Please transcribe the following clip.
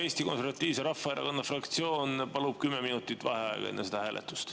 Eesti Konservatiivse Rahvaerakonna fraktsioon palub kümme minutit vaheaega enne seda hääletust.